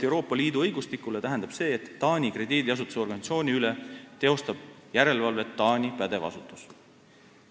Euroopa Liidu õigustiku järgi tähendab see, et Taani krediidiasutusorganisatsiooni üle teostab järelevalvet Taani pädev asutus.